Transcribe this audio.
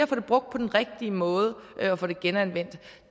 få det brugt på den rigtige måde og få det genanvendt